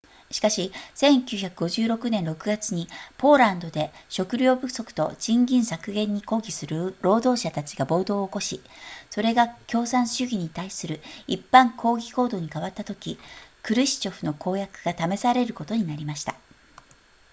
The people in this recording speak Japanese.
しかし1956年6月にポーランドで食糧不足と賃金削減に抗議する労働者たちが暴動を起こしそれが共産主義に対する一般抗議行動に変わったときクルシチョフの公約が試されることになりました